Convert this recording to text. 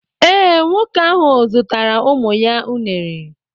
Ee, nwoke ahụ zụtara ụmụ ya unere